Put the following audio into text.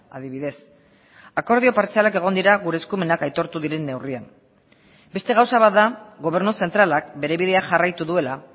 adibidez akordio partzialak egon dira gure eskumenak aitortu diren neurrian beste gauza bat da gobernu zentralak bere bidea jarraitu duela